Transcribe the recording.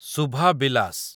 ଶୁଭା ବିଲାସ